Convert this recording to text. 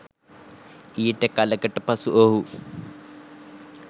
ඊට කලකට පසු ඔහු